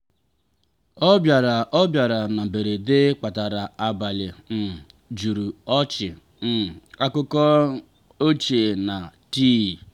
ọbịara ọbịara na mberede kpatara abalị um juru ọchị um akụkọ ochie na tii.